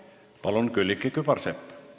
Palun, Külliki Kübarsepp!